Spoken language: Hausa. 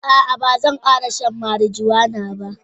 Aa Bazan kara shan marijuana ba.